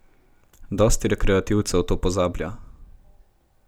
Dosti rekreativcev to pozablja.